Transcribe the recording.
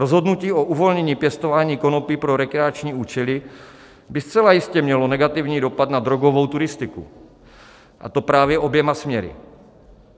Rozhodnutí o uvolnění pěstování konopí pro rekreační účely by zcela jistě mělo negativní dopad na drogovou turistiku, a to právě oběma směry.